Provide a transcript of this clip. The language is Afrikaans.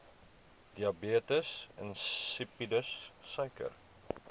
diabetes insipidus suiker